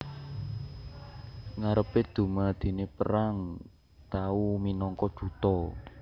Ngarepe dumadine perang tau minangka duta